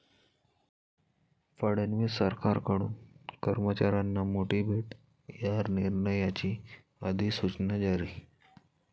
फडणवीस सरकारकडून कर्मचाऱ्यांना मोठी भेट, या निर्णयाची अधिसूचना जारी